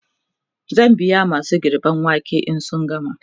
zan biya masu girben waken in sun gama